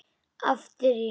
Aftur Ísland.